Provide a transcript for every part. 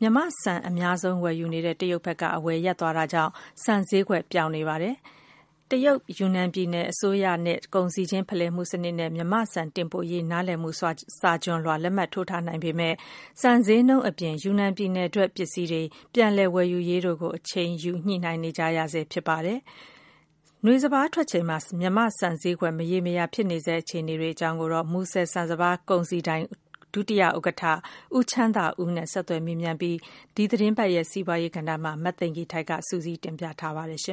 မြန်မာ့ဆန် အများဆုံး ဝယ်နေတဲ့ တရုတ်ဘက်က အဝယ်ရပ်သွားတာကြောင့် ဆန်ဈေးကွက်ပျောက်နေပါတယ်။ တရုတ် ယူနန်ပြည်နယ် အစိုးရနဲ့ ကုန်စည်ခြင်း ဖလှယ်မှု စနစ်နဲ့ မြန်မာ့ဆန် တင်ပို့နိုင်ရေး နားလည်မှုစာချွန်လွှာ လက်မှတ်ထိုးထားနိုင်ပေမယ့်လည်း ဆန်ဈေးနှုန်း၊ နောက် ယူနန် ပြည်နယ်ထွက် ပစ္စည်းတွေ ပြန်လည် ဝယ်ယူရေးနဲ့ ပတ်သက်ပြီး အချိန်ယူ ညှိနှိုင်းနေကြရဆဲ ဖြစ်ပါတယ်။ နွေစပါး ထွက်ချိန်မှာ မြန်မာ့ ဆန် ဈေးကွက် မရေရာတဲ့ အခြေအနေနဲ့ ပတ်သက်ပြီး မူဆယ် ဆန်စပါးကုန်စည်ဒိုင် ဒုတိယ ဥက္ကဌ ဦးချမ်းသာဦးနဲ့ ဆက်သွယ်မေးမြန်းပြီး ဒီသတင်းပတ် စီးပွားရေး ကဏ္ဍမှာ မသိင်္ဂ ီထိုက် စုစည်းတင်ပြထားပါတယ်။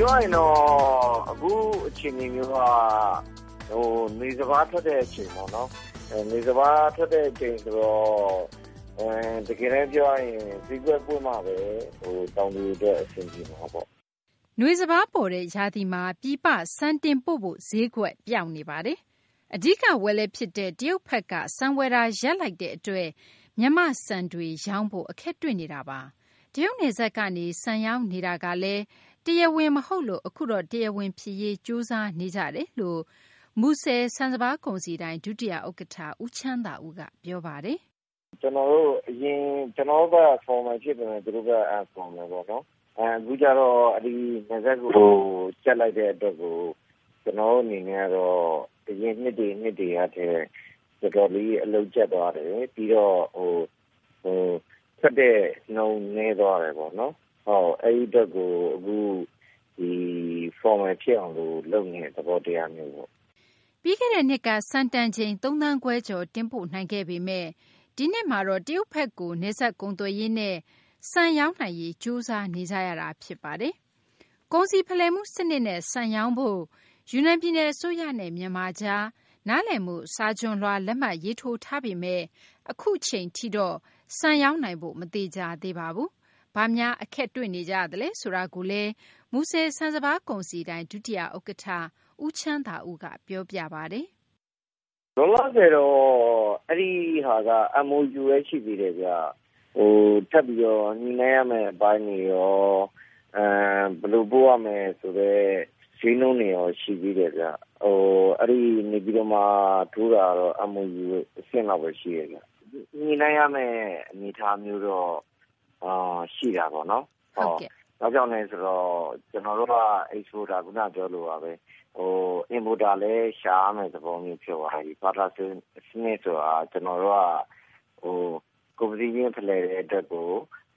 ပြောရရင်တော့ အခုအခြေအနေမျိုးက နွေစပါးထွက်တဲ့ အခြေအနေမျိုးပေါ့နော်။ နွေစပါး ထွက်တဲ့ အချိန်ဆိုတော့ တကယ်တန်း ပြောရရင် ဈေးကွက်ပွင့်မှဘဲ တောင်သူတွေ အတွက် အဆင်ပြေမှာပေါ့။ နွေစပါး ပေါ်တဲ့ ရာသီမှာ ပြည်ပ ဆန်တင်ပို့ဖို့ ဈေးကွက်ပျောက်နေပါတယ်။ အဓိက ဝယ်လက်ဖြစ်တဲ့ တရုတ်ဘက်က ဆန်ဝယ်တာ ရပ်လိုက်တဲ့ အတွက် ရောင်းဖို့ အခက်တွေ့နေတာပါ။ တရုတ်နယ်စပ်ကနေ ဆန်ရောင်းနေတာကလည်း တရားဝင် မဟုတ်လို့ အခုတော့ တရားဝင် ဖြစ်ရေး ကြိုးစားနေကြတယ်လို့ မူဆယ် ဆန်စပါး ကုန်စည်ဒိုင် ဒုတိယ ဥက္ကဌ ဦးချမ်းသာဦးက ပြောပါတယ်။ ကျနော်တို့ဘက်က အရင် ကျနော်တို့ဘက်က Formal ဖြစ်ပေမယ့် သူတို့ဘက်က Unfromal ပေါ့နော်။ အခုကျတော့ နယ်စပ်ကို ကြပ်လိုက်တဲ့ အတွက်ကို ကျနော်တို့ အနေနဲ့ကတော့ အရင်နှစ်တွေ နှစ်တွေကထက် တော်တော်လေး အလုပ်ကြပ်သွားတယ်။ ပြီးတော့ ထွက်တဲ့နှုန်း နည်းသွားတယ်ပေါ့နော်။ အဲဒီ အတွက်ကို အခု Formal ဖြစ်အောင် လုပ်နေတဲ့ သဘောတရားမျိုးပေါ့။ ပြီးခဲ့တဲ့နှစ်က ဆန်တန်ချိန် ၃ သန်းခွဲကျော် တင်ပို့နိုင်ခဲ့ပေမယ့် ဒီနှစ်မှာတော့ တရုတ်ဘက်ကို နယ်စပ်ကုန်သွယ်ရေးနဲ့ ဆန်ရောင်းနိုင်ရေး ကြိုးစားနေကြရပါတယ်။ ကုန်စည်ဖလှယ်မှု စနစ်နဲ့ ဆန်ရောင်းနိုင်ဖို့ ယူနန် ပြည်နယ် အစိုးရနဲ့ မြန်မာ ကြား သဘောတူ လက်မှတ်ရေးထိုးထားပေမယ့် အခုအချိန်ထိတော့ ဆန်ရောင်းနိုင်ဖို့ မသေချာသေးပါဘူး။ ဘာများ အခက်တွေ့နေကြလဲ ဆိုတာကိုတော့ မူဆယ် ဆန်စပါးကုန်စည်ဒိုင် ဒုတိယ ဥက္ကဌ ဦးချမ်းသာဦးက အခုလို ပြောပါတယ်။ လောလောဆယ်တော့ အဲဒီဟာက MOU ဘဲ ရှိသေးတယ်ဗျ။ ထပ်ပြီးတော့ ညှိနှိုင်းရမယ့် အပိုင်းတွေရော၊ ဘယ်လိုပို့ရမယ်ဆိုတဲ့ ဈေးနှုန်းတွေရော ရှိသေးတယ်ဗျ။ နေပြည်တော်မှာ ထိုးတာကတော့ MOU အဆင့်ဘဲ ရှိတယ်ဗျ။ ညှိနှိုင်းရမယ့် အနေအထားတော့ ရှိတာပေါ့နော်။ ဘာကြောင့်လဲ ဆိုတော့ ကျနော်တို့က Exporter ခုန ပြောသလိုပါဘဲ Importer လည်း ရှာရမယ့် သဘောဖြစ်သွားပြီ။ ဘာဖြစ်လို့လဲ ဆိုတော့ ဘာတာ စနစ်ဆိုတာ ကျနော်တို့က ကုန်ပစ္စည်းခြင်း ဖလှယ်တဲ့ အတွက်ကို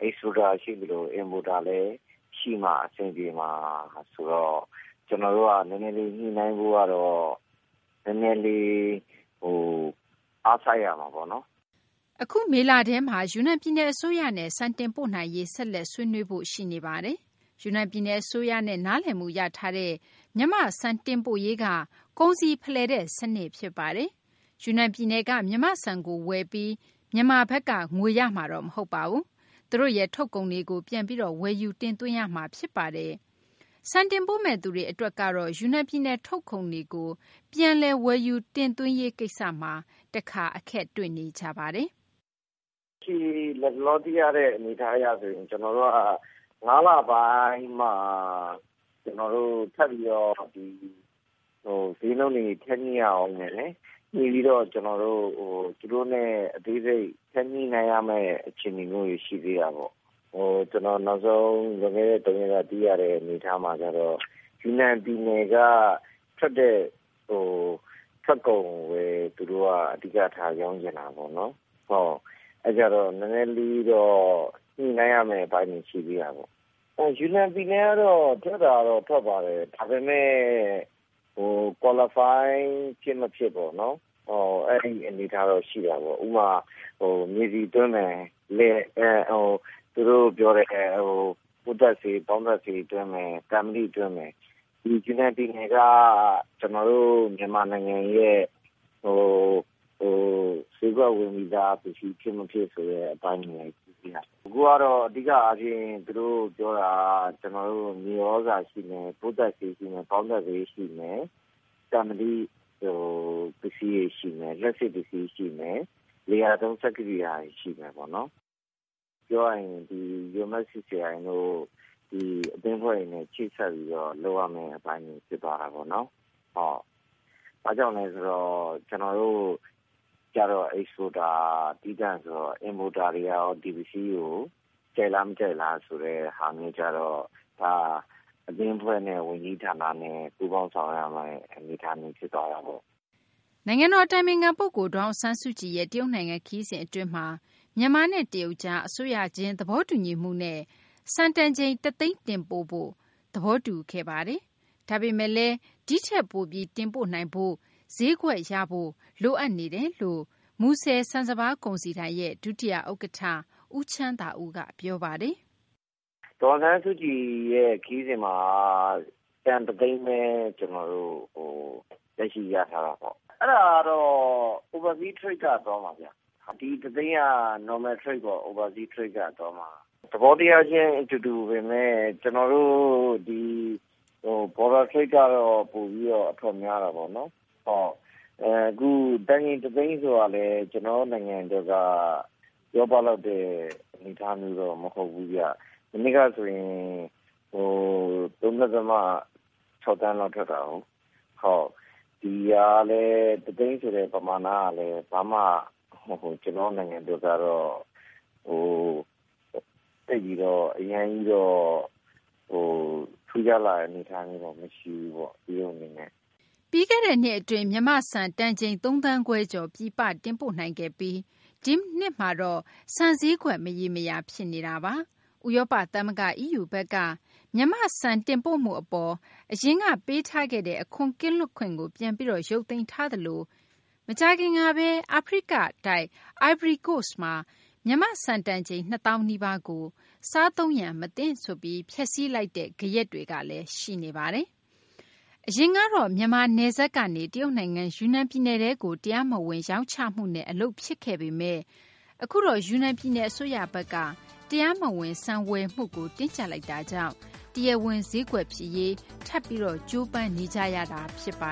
Exporter ရှိသလို Importer လည်း ရှိမှ အဆင်ပြေမှာ ဆိုတော့ ကျနော်တို့က နည်းနည်းလေး ညှိနှိုင်းဖို့ကတော့ နည်းနည်းလေး အားစိုက်ရမှာပေါ့နော်။ အခု မေလထဲမှာ ယူနန်ပြည်နယ် အစိုးရနဲ့ ဆက်လက် ဆွေးနွေးဖို့ ရှိနေပါတယ်။ ယူနန် ပြည်နယ် အစိုးရနဲ့ နားလည်မှု ရထားတဲ့ မြန်မာ့ ဆန် တင်ပို့ရေးက ကုန်စည်ဖလှယ်တဲ့ စနစ် ဖြစ်ပါတယ်။ ယူနန် ပြည်နယ်က မြန်မာ့ဆန်ကို ဝယ်ပြီး မြန်မာဘက်က ငွေရမှာတော့ မဟုတ်ပါဘူး။ သူတို့ရဲ့ ထုတ်ကုန်တွေကို ပြန်ပြီးတော့ ဝယ်ယူတင်သွင်းရမှာ ဖြစ်ပါတယ်။ ဆန်တင်ပို့မယ့်သူတွေကတော့ ယူနန်ပြည်နယ် ထုတ်ကုန်တွေကို ပြန်လည် ဝယ်ယူ တင်သွင်းရေး ကိစ္စမှာ တခါ အခက်တွေ့နေကြပါတယ်။ လတ်တလော သိထားရတဲ့ အနေအထား အရဆို ကျနော်တို့က ၅ လပိုင်းမှ ကျနော်တို့ ထပ်ပြီးတော့ ဈေးနှုန်းတွေ ထပ်ညှိရဦးမယ်။ ညှိပြီးတော့ သူတို့နဲ့ အသေးစိတ် ထပ်ညှိနှိုင်းရမယ့် အခြေအနေတွေ ရှိသေးတာပေါ့။ ကျနော် နောက်ဆုံး လွန်ခဲ့တဲ့ သုံးရက်က သိရတဲ့ အနေအထား အရဆို ယူနန် ပြည်နယ်က ထွက်တဲ့ ထွက်ကုန်ကိုဘဲ သူတို့က အဓိကထား ရောင်းချင်တာပေါ့နော်။ အဲတော့ နည်းနည်းလေးတော့ ညှိနှိုင်းရမယ့် အပိုင်းတွေ ရှိသေးတာပေါ့။ ယူနန် ပြည်နယ်ကတော့ ထွက်တာကတော့ ထွက်ပါတယ်။ ဒါပေမယ့် Qualify ဖြစ်မဖြစ်ပေါ့နော် အဲဒီ အနေအထားတော့ ရှိတာပေါ့။ ဥပမာ မြေဆီ သွင်းမယ်၊ သူတို့ ပြောတဲ့ ပိုးသတ်ဆေး၊ ပေါင်းသတ်ဆေး သွင်းမယ်၊ သံမဏိ သွင်းမယ်။ ဒီယူနန် ပြည်နယ်က ကျနော်တို့ မြန်မာနိုင်ငံရဲ့ ဈေးကွက်ဝင်ပြီးသား ပစ္စည်း ဖြစ်မဖြစ် ဆိုတဲ့ အပိုင်းတွေလည်း ရှိတယ်။ အခုကတော့ အဓိက အားဖြင့် သူတို့ ပြောတာက ကျနော်တို့ မြေသြဇာ ရှိမယ်၊ ပိုးသတ်ဆေး ရှိမယ်၊ ပေါင်းသတ်ဆေး ရှိမယ်၊ သံမဏိ ပစ္စည်းတွေ ရှိမယ်၊ လျှပ်စစ် ပစ္စည်းတွေ ရှိမယ်၊ လယ်ယာသုံး စက်ကိရိယာတွေ ရှိမယ်ပေါ့နော်။ ပြောရရင် ဒီ UMFCCI တို့ ဒီ အသင်းအဖွဲ့တွေနဲ့ ချိတ်ဆက်ပြီး လုပ်ရမယ့် အပိုင်းတွေ ဖြစ်သွားတာပေါ့နော်။ ဘာကြောင့်လဲ ဆိုတော့ ကျနေ်ာတို့ကျတော့ Exporter သီးသန့် ဆိုတော့ Importer တွေကရော ဒီပစ္စည်းတွေကို ကြိုက်လား မကြိုက်လားဆိုတဲ့ ဟာမျိုးကျတော့ ဒါ အသင်းအဖွဲ့နဲ့ ဝန်ကြီးဌာနနဲ့ ပူးပေါင်းဆောင်ရွက်ရမယ့် အနေအထားမျိုး ဖြစ်သွားတာပေါ့။ နိုင်ငံတော် အတိုင်ပင်ခံ ပုဂ္ဂိုလ် ဒေါ်အောင်ဆန်းစုကြည်ရဲ့ တရုတ်နိုင်ငံ ခရီးစဉ် အတွင်းမှာ မြန်မာနဲ့ တရုတ်ကြား အစိုးရခြင်း သဘောတူညီချက်နဲ့ ဆန်တန်ချိန် တသိန်း တင်ပို့ဖို့ သဘောတူ ခဲ့ပါတယ်။ ဒါပေမယ့်လည်း ဒီထက်ပိုပြီး တင်ပို့နိုင်ဖို့၊ ဈေးကွက်ရဖို့ လိုအပ်နေတယ်လို့ မူဆယ် ဆန်စပါး ကုန်စည်ဒိုင် ဒုတိယ ဥက္ကဌ ဦးချမ်းသာဦးက ပြောပါတယ်။ ဒေါ်အောင်ဆန်းစုကြည်ရဲ့ ခရီးစဉ်မှာက တန် တသိန်းဘဲ လက်ရှိရထားတာပေါ့။ အဲဒါကတော့ Oversea Trade က သွားမှာဗျ။ ဒီ တသိန်းက Normal Trade ပေါ့ Oversea Trade က သွားမှာ။ သဘောတရားခြင်း အတူတူပေမယ့် ကျနော်တို့ ဒီ Border Trade ကတော့ ပိုပြီး အထွက်များတာပေါ့။ တန်ချိန် တသိန်း ဆိုတာလည်း ကျနော်တို့ နိုင်ငံ အတွက်က ပြောပလောက်တဲ့ အနေအထားမျိုးတော့ မဟုတ်ဘူးဗျ။ မနှစ်ကဆိုရင် ၃ ဒသမ ၆ သန်းလောက် ထွက်တာကိုး။ ဒီ တသိန်းဆိုတဲ့ ပမာဏကတော့ ဘာမှ ကျနော်တို့ နိုင်ငံ အတွက်ကတော့ သိပ်ပြီးတော့ အရမ်းကြီးတော့ ထူးခြားလာတဲ့ အနေအထားမျိုးတော့ မရှိဘူးပေါ့။ တရုတ် အနေနဲ့။ ပြီးခဲ့တဲ့နှစ် အတွင်း မြန်မာ့ဆန် သုံးသန်းခွဲကျော် ပြည်ပတင်ပို့ နိုင်ခဲ့ပြီး ဒီနှစ်မှာတော့ ဆန်ဈေးကွက် မရေမရာ ဖြစ်နေတာပါ။ ဥရောပ သမဂ္ဂ EU က မြန်မာ့ဆန် တင်ပို့မှု အပေါ် အရင်က ပေးထားခဲ့တဲ့ အခွန် ကင်းလွတ်ခွင့်ကို ပြန်ပြီးတော့ ရုပ်သိမ်းထားသလို မကြာခင်ကဘဲ အာဖရိက အိုင်ဗရီကိုစ့်မှာ မြန်မာ့ဆန် တန်ချိန် ၂ သောင်းကို စားသုံးရန် မသင့်ဆိုပြီး ဖျက်စီးလိုက်တဲ့ ဂယက်တွေကလည်း ရှိနေပါတယ်။ အရင်ကတော့ မြန်မာ နယ်စပ်ကနေ တရုတ်နိုင်ငံ ယူနန် ပြည်နယ်ထဲကို တရားမဝင် ရောင်းချမှုနဲ့ အလုပ်ဖြစ်ခဲ့ပေမယ့် အခုတော့ ယူနန် ပြည်နယ် အစိုးရဘက်က တရားမဝင် ဆန်ဝယ်မှုကို တင်းကြပ်လိုက်တာကြောင့် တရားဝင် ဈေးကွက်ဖြစ်ရေး ထပ်ပြီးတော့ ကြိုးပမ်းနေကြရတာ ဖြစ်ပါ